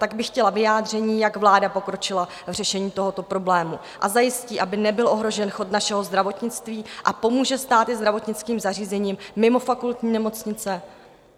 Tak bych chtěla vyjádření, jak vláda pokročila v řešení tohoto problému a zajistí, aby nebyl ohrožen chod našeho zdravotnictví, a pomůže stát i zdravotnickým zařízením mimo fakultní nemocnice?